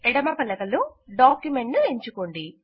ఎడమ పలకలో డాక్యుమెంట్ ను ఎంచుకోండి